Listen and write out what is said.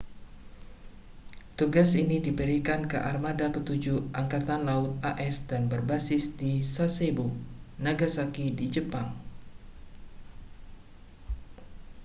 tugas ini diberikan ke armada ketujuh angkatan laut as dan berbasis di sasebo nagasaki di jepang